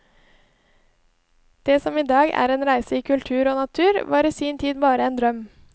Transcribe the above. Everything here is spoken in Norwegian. Det som i dag er en reise i kultur og natur, var i sin tid bare en drøm.